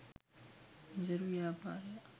නිසරු ව්‍යාපාරයක්